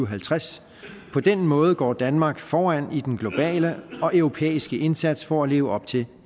og halvtreds på den måde går danmark foran i den globale og europæiske indsats for at leve op til